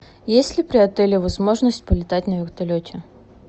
есть ли при отеле возможность полетать на вертолете